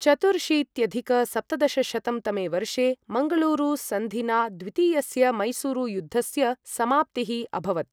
चतुर्शीत्यधिक सप्तदशशतं तमे वर्षे मङ्गलूरु सन्धिना द्वितीयस्य मैसूरुयुद्धस्य समाप्तिः अभवत्।